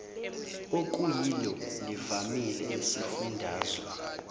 okuyilo livamile esifundazwe